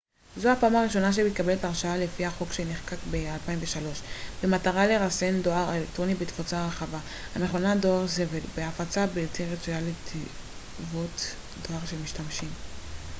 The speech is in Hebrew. זו הפעם הראשונה שמתקבלת הרשעה לפי החוק שנחקק ב-2003 במטרה לרסן דואר אלקטרוני בתפוצה רחבה המכונה דואר זבל מהפצה בלתי רצויה לתיבות דואר של משתמשים